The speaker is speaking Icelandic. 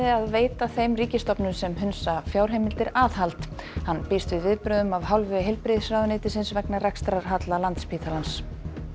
að veita þeim ríkisstofnunum sem hunsa fjárheimildir aðhald hann býst við viðbrögðum af hálfu heilbrigðisráðuneytis vegna rekstrarhalla Landspítalans